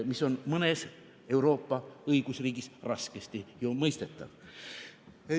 See on mõnes Euroopa õigusriigis ju raskesti mõistetav.